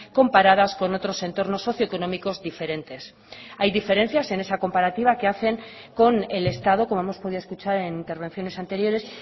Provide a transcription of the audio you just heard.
comparadas con otros entornos socioeconómicos diferentes hay diferencias en esa comparativa que hacen con el estado como hemos podido escuchar en intervenciones anteriores